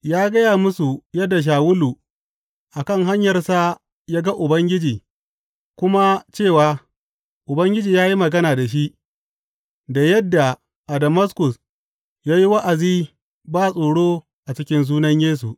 Ya gaya musu yadda Shawulu a kan hanyarsa ya ga Ubangiji kuma cewa Ubangiji ya yi magana da shi, da yadda a Damaskus ya yi wa’azi ba tsoro a cikin sunan Yesu.